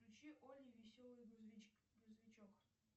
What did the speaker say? включи олли веселый грузовичок